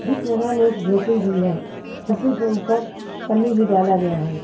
बीच बाजार में एक झोपड़ी भी है झोपड़ी के ऊपर पन्नी भी डाला गया है।